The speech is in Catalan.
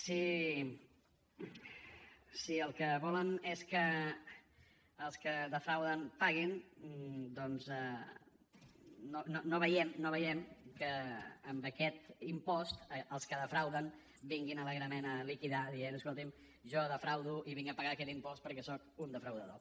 si el que volen és que els que defrauden paguin doncs no veiem que amb aquest impost els que defrauden vinguin alegrement a liquidar dient escolti’m jo defraudo i vinc a pagar aquest impost perquè soc un defraudador